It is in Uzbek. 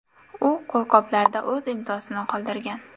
U qo‘lqoplarda o‘z imzosini qoldirgan”.